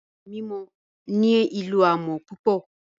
Ìkòkò mímọ̀ ní ilọ̀ àmọ̀ púpọ̀